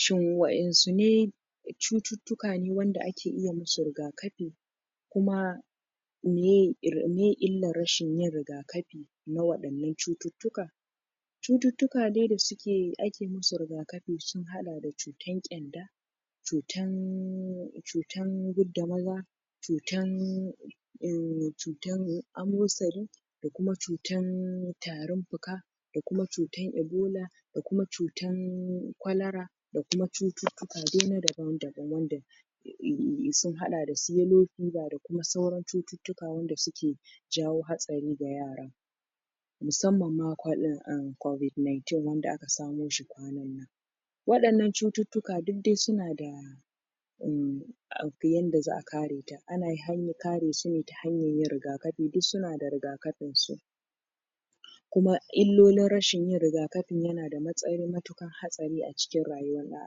Shin wa insu ne cututtuka ne wanda ake iya musu rigafi kuma meye il.. illar rashin yin rigafi na waɗannan cututtukan cututtuka dai da suke.. ake yi mus rigafi sun haɗa da cutar kyanda cutan cutan gud da maza cutan uhmmm cutan amosani da kuma cutan tarin fuka da kuma cutan ibola da kuma cutan kwalera da kuma cututtuka dai na daban-daban wanda sun haɗa da su yelo fiba da kuma sauran cututtuka wanda suke jawo hatsari ga yara musamman ma cob.. cobid 19 wanda aka samoshi kwanan nan waɗannan cututtuka duk dai suna da uhhhmm ahh yanda za'a kare mutum ana hanyar karesu ne ta hanyar yin rigafi, duk suna da rigakafin su kuma illolin rashin yin rigafin yana da matsayin matukar hatsari a rayuwar ɗan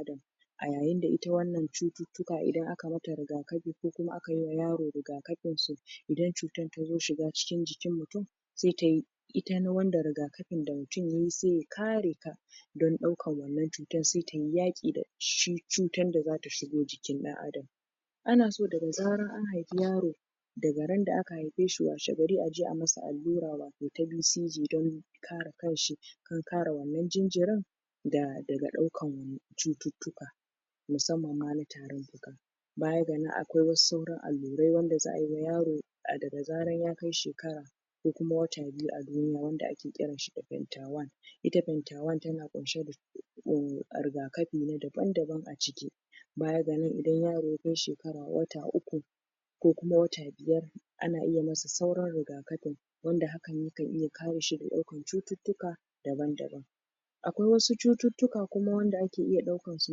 adam a yayinda ita wannan cututtuka idan aka mata rigafi ko kuma akayi wa yaro rigakafinsu idan cutar tazo shiga cikin jikin mutum sa tayi ita na wanda rigafin da mutum yayi sai ya kare ta don ɗaukan wannan cutan sai tayi yaki dashi cutar da zata shigo jikin dan adam anaso daga zaran an haifi yaro daga randa aka haifeshi washegari aje ayi masa allura wato ta bcg don kare kanshi da kuma kare wannan jinjirin daga ɗaukan cututtuka musamman ma na tarin fuka baya ga nan akwai wasu sauran allurai wanda za'ayi wa yaro daga zaran ya kai shekara ko wata biyu a duniya wanda ake kiranta da fenta 1 ita fenta 1 tana ƙunshe da uhmm rigafi na daban-daban a ciki baya ga nan idan yaro yakai shekara.. wata uku ko kuma wata biyar ana iya masa sauran rigafin wanda hakan yakan iya kareshi da ɗaukan cututtuka daban-daban akwai wasu cututtuka kuma wanda ake iya ɗaukansu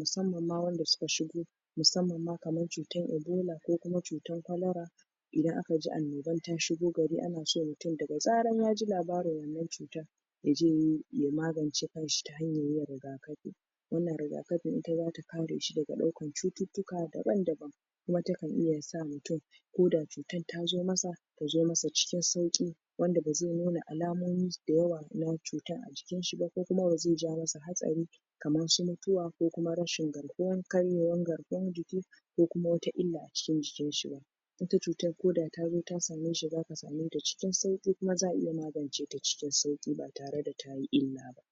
musamman ma wanda suka shigo musammanma kamar cutar ibola ko kuma cutar kwalara idan akaji annobar ta shigo gari ana cewa mutum daga zarar yaji labarin wannan cutar yaje yayi.. ya magance kanshi ta yanyar yin rigafi wannan rigafin ita zata kareshi daga ɗaukar cututtuka daban-daban kuma takan iya sa mutum koda cutar tazo masa, tazo masa cikin sauƙi wanda bazai nuna alamominsu da yawa na cutar a jikinshi ba, ko kuma bazai jawo masa hatsari kamar su mutuwa, ko kuma rashin garkuwa karyewar garkuwar jiki ko kuma wata illa a cikin jikinshi ba ita cutar koda tazo ta sameshi zaka sameta cikin sauki kuma za'a iya maganceta cikin sauki ba tare da tayi illa ba